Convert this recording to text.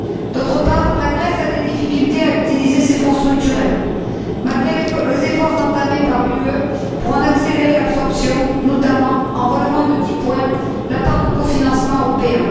D'autre part, la Grèce a des difficultés à utiliser ses fonds structurels, malgré les efforts entamés par l'Union pour en accélérer l'absorption, notamment en relevant de 10 points la part de cofinancement européen.